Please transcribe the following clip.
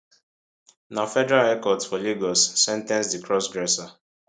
na federal high court for lagos sen ten ce di crossdresser